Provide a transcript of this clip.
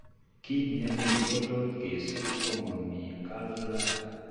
Kitnemie kotot kesob komomii gallbladder